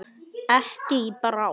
Ekki í bráð.